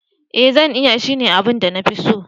Ee zan iya, shine abin da na fi so.